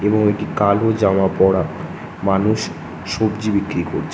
এবং একটি কালো জামা পরা মানুষ সবজি বিক্রি করছে।